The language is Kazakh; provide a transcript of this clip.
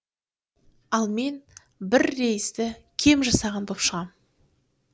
ал мен бір рейсті кем жасаған боп шығам